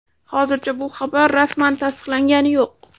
Hozircha bu xabar rasman tasdiqlangani yo‘q.